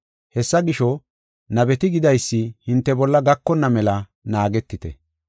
Hessa gisho, nabeti gidaysi hinte bolla gakonna mela naagetite.